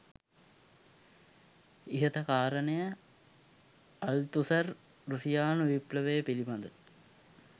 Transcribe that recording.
ඉහත කාරණය අල්තුසර් රුසියානු විප්ලවය පිළිබඳ